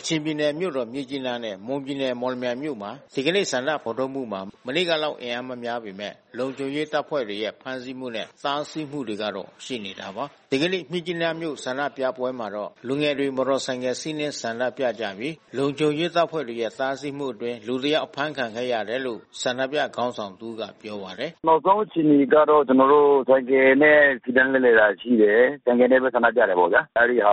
ကချင်ပြည်နယ်မြို့တော်မြစ်ကြီးနားနဲ့ မွန်ပြည်နယ် မော်လမြိုင်မြို့မှာ ဒီကနေ့ ဆန္ဒဖော်ထုတ်မှုမှာ မနေ့ကလောက် အင်အားမများပေမဲ့ လုံခြုံရေးတပ်ဖွဲ့တွေရဲ့ဖမ်းစီးမှုနဲ့ တားဆီးမှုတွေကတော့ ရှိနေတာပါ။ ဒီကနေ့ မြစ်ကြီးနားမြို့ ဆန္ဒပြပွဲမှာတော့ လူငယ်တွေ မော်တော်ဆိုင်ကယ်စီးနင်းဆန္ဒပြကြပြီး လုံခြုံရေးတပ်ဖွဲ့တွေရဲ့ တားဆီးမှုအတွင်း လူတယောက်အဖမ်းဆီးခံခဲ့ရတယ်လို့ ဆန္ဒပြခေါင်းဆောင် တဦးကပြောပါတယ်။ “နောက်ဆုံးအခြေအနေကတော့ ကျနော်တို့ ဆိုင်ကယ်နဲ့ စီတန်းလှည့်လည်တာ ရှိတယ်။ ဆိုင်ကယ်နဲ့ပဲ ဆန္ဒပြတာပေါ့ဗျာ။ အဲဒီဟာ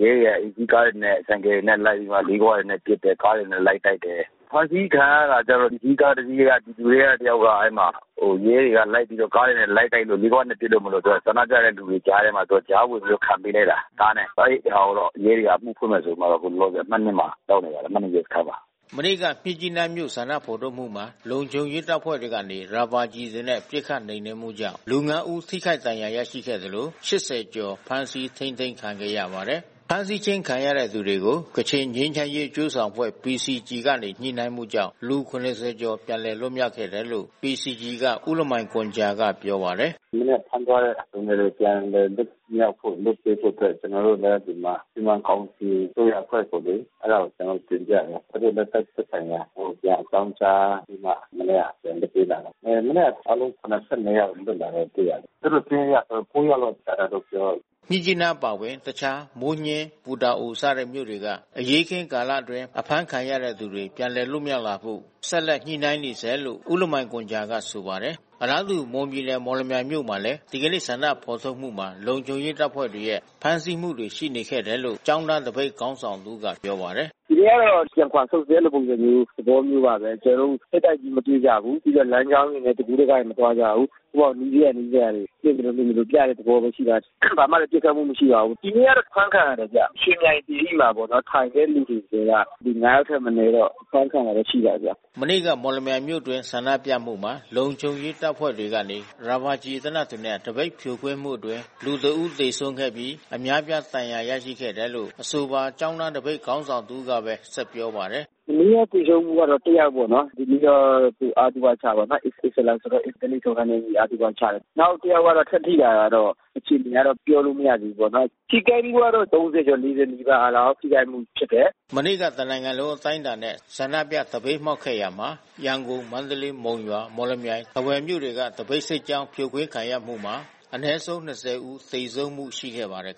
ကို ရဲတွေက လူစီးကားတွေနဲ့ ဆိုင်ကယ်တွေနဲ့ လိုက်ပြီးမှ လေးခွတွေနဲ့ ပစ်တယ်။ ကားတွေနဲ့ လိုက်တိုက်တယ်။ အဖမ်းဆီးခံရတာကတော့ လူစီးကားတစီးထဲက ပြည်သူထဲက တယောက်က အဲဒီမှာ ရဲတွေက လိုက်ပြီးတော့ ကားတွေနဲ့ လိုက်တိုက်၊ လေးခွနဲ့ ပစ်လို့ မလွတ်ဘဲ ဆန္ဒပြတဲ့လူတွေကြားထဲမှာ သူကကြား ဝင်ပြီးတော့ ခံပေးလိုက်တာ ကားနဲ့။ အဲဒီဟာကိုတော့ ရဲတွေက အမှုဖွင့်မယ်ဆိုပြီးတော့ အခုလောလောဆယ် အမှတ် မှာ ရောက်နေပါတယ်။ အမှတ် ရဲစခန်းမှာ။” မနေ့က မြစ်ကြီးနားမြို့ ဆန္ဒဖော်ထုတ်မှုမှာ လုံခြုံရေးတပ်ဖွဲ့တွေကနေ ရာဘာကျည်တွေနဲ့ ပစ်ခတ်နှိမ်နှင်းမှုကြောင့် လူ ၅ ဦး ထိခိုက်ဒဏ်ရာရရှိသလို ၈၀ ကျော် ဖမ်းဆီးထိန်းသိမ်းခံခဲ့ရပါတယ်။ ဖမ်းဆီးခြင်းခံရတဲ့သူတွေကို ကချင်ငြိမ်းချမ်းရေးအကျိုးဆောင်အဖွဲ့ PCG ကနေ ညှိနှိုင်းမှုကြောင့် လူ ၇၀ ကျော်ပြန်လည်လွတ်မြောက်ခဲ့တယ်လို့ PCG က ဦးလမိုင်ဂွမ်ဂျာကပြောပါတယ်။ “မနေ့က ဖမ်းသွားတဲ့ လူငယ်တွေပြန်လည်လွတ်မြောက်ဖို့ လွှတ်ပေးဖို့အတွက် ကျနော်တို့လည်း ဒီမှာ စီမံကောင်စီ အစိုးရအဖွဲ့ကိုလေ အဲဒါကို ကျနော်တို့ တင်ပြတယ်။ သူတို့လည်း သက်ဆိုင်ရာကို ပြန်အကြောင်းကြားပြီးမှ မနေ့က ပြန်လွှတ်လိုက်တယ်။ မနေ့ကအားလုံး ၇၂ ယောက်လွတ်လာတာတွေ့ရတယ်။ သူတို့စာရင်းအရဆို ၉ ယောက် လောက်ကျန်တယ်လို့ပြောတယ်။” မြစ်ကြီးနားအပါအဝင် တခြားမိုးညှင်း၊ ပူတာအို စတဲ့မြို့တွေက အရေးခင်းကာလအတွင်းအဖမ်းခံရသူတွေ ပြန်လည် လွတ်မြောက်ဖို့ ဆက်လက်ညှိနှိုင်းနေဆဲလို့ ဦးလမိုင်ဂွမ်ဂျာကဆိုပါတယ်။ အလားတူ မွန်ပြည်နယ် မော်လမြိုင်မြို့မှာလည်း ဒီကနေ့ ဆန္ဒဖော်ထုတ်မှုမှာ လုံခြုံရေးတပ်ဖွဲ့တွေရဲ့ ဖမ်းဆီးမှုတွေ ရှိခဲ့တယ်လို့ ကျောင်းသားသပိတ်ခေါင်းဆောင်တဦးကပြောပါတယ်။ “ဒီနေ့ကတော့ ပြန်ခွါဆုတ်စစ် အဲဒီလိုပုံစံမျိုး သဘောမျိုးပါပဲ။ ကျနော်တို့ ထိပ်တိုက်ကြီး မတွေ့ကြဘူး။ ပြီးတော့ လမ်းကြောင်းတွေနဲ့ တကူးတကကြီး မသွားကြဘူး။ နီးစပ်ရာနီးစပ်ရာတွေ၊ စုပြီးတော့ပြတဲ့သဘောမျိုးပဲ။ ဘာမှလည်း ပစ်ခတ်မှု မရှိပါဘူး။ ဒီနေ့တော့ အဖမ်းခံရတယ်ဗျ။ ရွှေမြိုင်သီရိမှာပေါ့နော်... ထိုင်တဲ့သူတွေထဲက ၅ ယောက်ထက်မနည်းတော့ အဖမ်းခံရတာရှိပါတယ်ဗျ။” မနေ့က မော်လမြိုင်မြို့အတွင်း ဆန္ဒပြမှုမှာ လုံခြုံရေးတပ်ဖွဲ့တွေကနေ ရာဘာကျည်သေနတ်တွေနဲ့ သပိတ်ဖြိုခွင်းမှုအတွင်း လူ ၁ ဦး သေဆုံးခဲ့ပြီး အများပြားဒဏ်ရာရခဲ့တယ်လို့ အဆိုပါကျောင်းသား သပိတ်ခေါင်းဆောင် တဦးကပဲ ဆက်ပြောပါတယ်။ “မနေ့က သေဆုံးမှုကတော့ တယောက်ပေါ့နော်။ ဒီနေ့တော့ သူ့ အသုဘချတယ်ပေါ့နော်။ အစ္စလမ်ဆိုတော့ ဓလေ့ထုံးစံနဲ့ အညီအသုဘချတယ်။ နောက်တယောက်က ထပ်ထိတာကတော့ အခြေအနေကတော့ ပြောလို့မရသေးဘူးပေါ့နော်။ ထိခိုက်မှုကတော့ ၃၀ ကျော်၊ ၄၀ နီးပါးလောက် ထိခိုက်မှု ဖြစ်တယ်။” မနေ့က တနိုင်ငံလုံးအတိုင်းတာနဲ့ ဆန္ဒပြသပိတ်မှောက်ခဲ့ရာမှာ ရန်ကုန်၊ မန္တလေး၊ မုံရွာ၊ မော်လမြိုင်၊ ထားဝယ်မြို့တွေက သပိတ်စစ်ကြောင်း ဖြိုခွင်းခံရမှုမှာ အနည်းဆုံး ၂၀ ဦးသေဆုံးမှု ရှိခဲ့ပါတယ်